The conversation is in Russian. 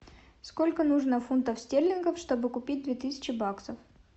сколько нужно фунтов стерлингов чтобы купить две тысячи баксов